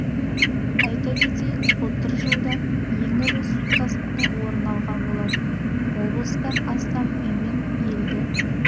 айта кетейік былтыр жылда ең ірі су тасқыны орын алған болатын облыста астам үй мен елді